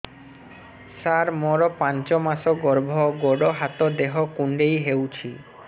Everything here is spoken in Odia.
ସାର ମୋର ପାଞ୍ଚ ମାସ ଗର୍ଭ ଗୋଡ ହାତ ଦେହ କୁଣ୍ଡେଇ ହେଉଛି